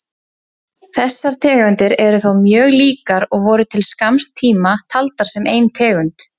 Þessar tegundir eru þó mjög líkar og voru til skamms tíma taldar sem ein tegund.